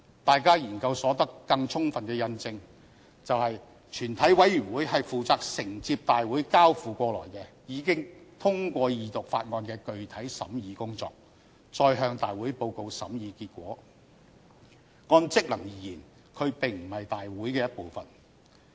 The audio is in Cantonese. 大家的研究所得更充分印證，全體委員會是負責承接大會交付過來、已經通過二讀法案的具體審議工作，再向大會報告審議結果；按職能而言，它並非大會的一部分。